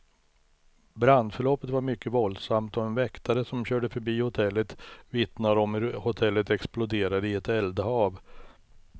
Brandförloppet var mycket våldsamt, och en väktare som körde förbi hotellet vittnar om hur hotellet exploderade i ett eldhav.